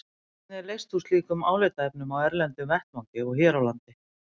Hvernig er leyst úr slíkum álitaefnum á erlendum vettvangi og hér á landi?